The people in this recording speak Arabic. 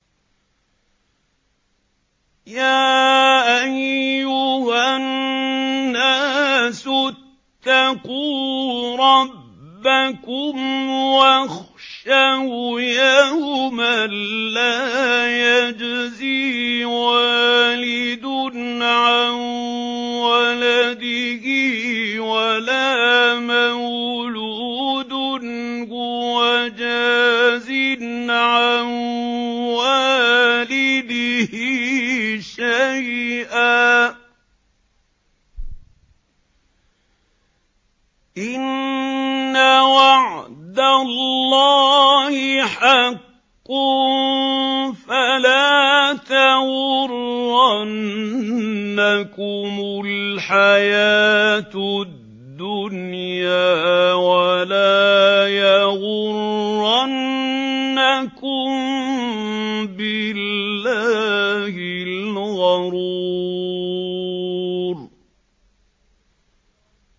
يَا أَيُّهَا النَّاسُ اتَّقُوا رَبَّكُمْ وَاخْشَوْا يَوْمًا لَّا يَجْزِي وَالِدٌ عَن وَلَدِهِ وَلَا مَوْلُودٌ هُوَ جَازٍ عَن وَالِدِهِ شَيْئًا ۚ إِنَّ وَعْدَ اللَّهِ حَقٌّ ۖ فَلَا تَغُرَّنَّكُمُ الْحَيَاةُ الدُّنْيَا وَلَا يَغُرَّنَّكُم بِاللَّهِ الْغَرُورُ